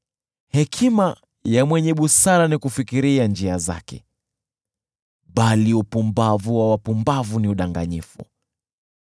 Hekima ya mwenye busara ni kufikiria njia zake, bali upumbavu wa wapumbavu ni udanganyifu.